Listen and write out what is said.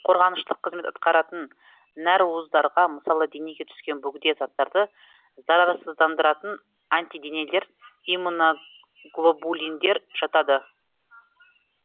қорғаныштық қызмет атқаратын нәруыздарға мысалы денеге түскен бөгде заттарды зарарсыздандыратын антиденелер иммуноглобулиндер жатады